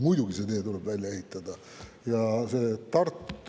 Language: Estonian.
Muidugi see tee tuleb välja ehitada!